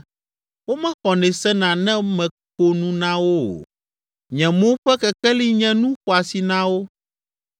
Womexɔnɛ sena ne meko nu na wo o, nye mo ƒe kekeli nye nu xɔasi na wo.